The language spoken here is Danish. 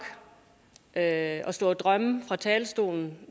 at stå og drømme fra talerstolen